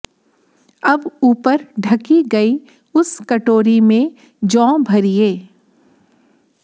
अब ऊपर ढकी गयी उस कटोरी में जौ भरिये